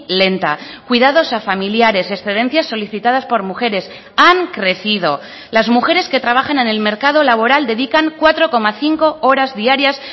lenta cuidados a familiares excedencias solicitadas por mujeres han crecido las mujeres que trabajan en el mercado laboral dedican cuatro coma cinco horas diarias